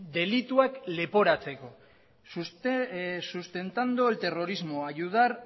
delituak leporatzeko sustentando el terrorismo ayudar